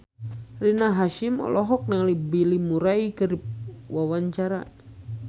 Rina Hasyim olohok ningali Bill Murray keur diwawancara